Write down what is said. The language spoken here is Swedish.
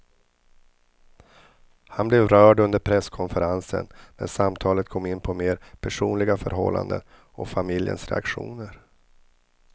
Han blev rörd under presskonferensen när samtalet kom in på mer personliga förhållanden och familjens reaktioner.